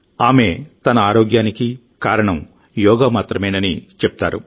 ఆమె తన ఆరోగ్యానికి ఈ వంద సంవత్సరాల వయస్సుకు కారణం యోగా మాత్రమేనని ఆమె చెప్తుంది